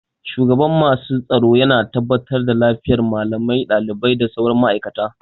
Shugaban masu tsaro yana tabbatar da lafiyar malamai, ɗalibai da sauran ma'aikata